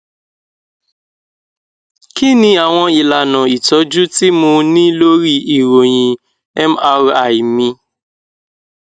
kí ni àwọn ìlànà ìtójú tí mo ní lórí ìròyìn mri mi